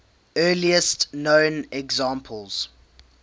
earliest known examples